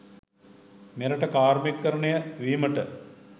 මෙරට කාර්මීකරණය වීමට